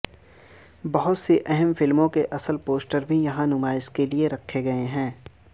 بہت سی اہم فلموں کے اصل پوسٹر بھی یہاں نمائش کے لیے رکھے گئے ہیں